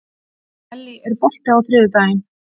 Ellý, er bolti á þriðjudaginn?